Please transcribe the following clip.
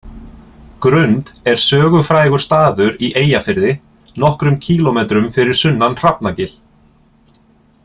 Grund er sögufrægur staður í Eyjafirði, nokkrum kílómetrum fyrir sunnan Hrafnagil.